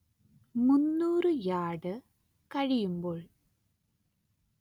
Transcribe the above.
മുന്നൂറ്‌ യാർഡ് കഴിയുമ്പോൾ